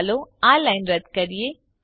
ચાલો આ લાઈનને રદ્દ કરીએ